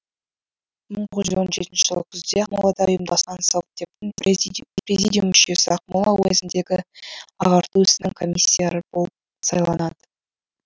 мың тоғыз жүз он жетінші жыл күзде ақмолада ұйымдасқан совдептің президиум мүшесі ақмола уезіндегі ағарту ісінің комиссары болып сайланады